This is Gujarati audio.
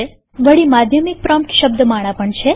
વળી માધ્યમિક પ્રોમ્પ્ટ શબ્દમાળા પણ છે